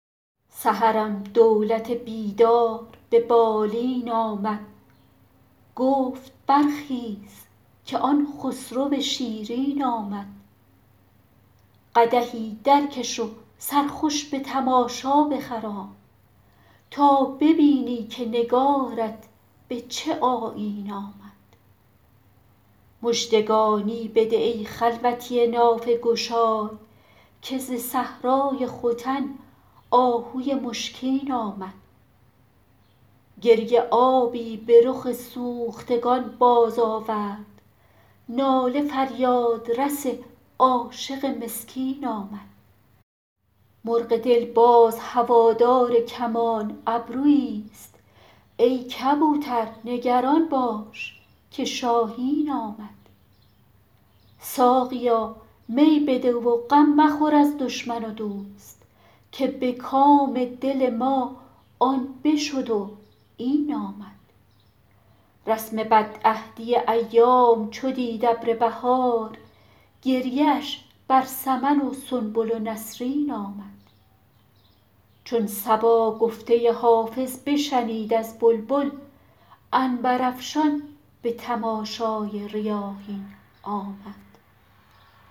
سحرم دولت بیدار به بالین آمد گفت برخیز که آن خسرو شیرین آمد قدحی درکش و سرخوش به تماشا بخرام تا ببینی که نگارت به چه آیین آمد مژدگانی بده ای خلوتی نافه گشای که ز صحرای ختن آهوی مشکین آمد گریه آبی به رخ سوختگان بازآورد ناله فریادرس عاشق مسکین آمد مرغ دل باز هوادار کمان ابروییست ای کبوتر نگران باش که شاهین آمد ساقیا می بده و غم مخور از دشمن و دوست که به کام دل ما آن بشد و این آمد رسم بدعهدی ایام چو دید ابر بهار گریه اش بر سمن و سنبل و نسرین آمد چون صبا گفته حافظ بشنید از بلبل عنبرافشان به تماشای ریاحین آمد